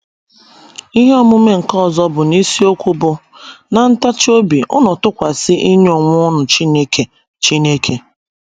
Ihe omume nke ọzọ bụ n’isiokwu bụ́ “ ná Ntachi Obi ụnụ tukwasi ịnye onwe ụnụ Chineke Chineke. ”